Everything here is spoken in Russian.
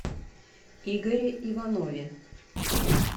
игоре иванове